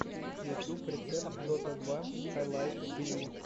ютюб рецепт дота два хайлайтс тиви